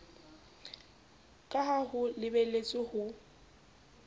ka ha ho lebeletswe ho